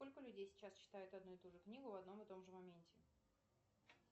сколько людей сейчас читают одну и ту же книгу в одном и том же моменте